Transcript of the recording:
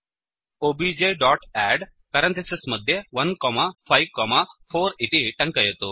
OBJ dot add154 इति टङ्कयतु